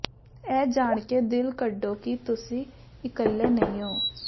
ਇਹ ਜਾਣ ਕੇ ਦਿਲ ਕੱਢੋ ਕਿ ਤੁਸੀਂ ਇਕੱਲੇ ਨਹੀਂ ਹੋ